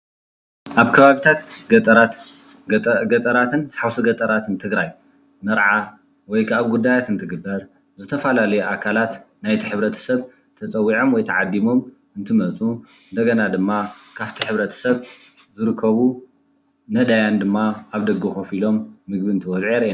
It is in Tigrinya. ኣብ ከባብታት ገጠራትን ሓውሲ ገጠራትን ትግራይ መርዓ ወይ ከዓ ጉዳያት እንትግበር ዝተፈላለዩ ኣካላት ናይ እቱይ ሕብረተሰብ ተፀዊዖም ወይ ተዓዲሞም እንትመፁ ድማ ካብቲ ሕብረተሰብ ዝረከቡ ነዳያን ድማ ኣብ ደገ ከፍ ኢሎም ምግቢ እንትበልዑ የርእየና።